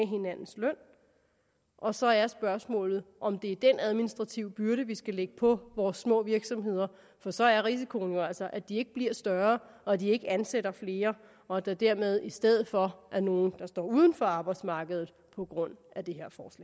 hinandens løn og så er spørgsmålet om det er den administrative byrde vi skal lægge på vores små virksomheder for så er risikoen jo altså at de ikke bliver større og at de ikke ansætter flere og at der dermed i stedet for er nogle der står uden for arbejdsmarkedet på grund af det